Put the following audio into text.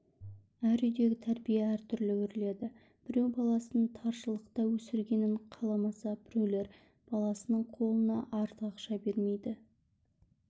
әр үйдегі тәрбие әртүрлі өріледі біреу баласын таршылықта өсіргенін қаламаса біреулер баласының қолына артық ақша бермейді